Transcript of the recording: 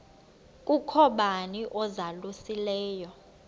kukho bani uzalusileyo